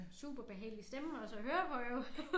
Superbehagelig stemme også at høre på jo